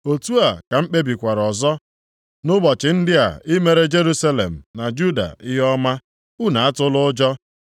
“otu a ka m kpebikwara ọzọ nʼụbọchị ndị a imere Jerusalem na Juda ihe ọma. Unu atụla ụjọ.